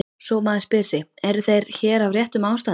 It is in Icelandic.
Svo maður spyr sig: eru þeir hér af réttum ástæðum?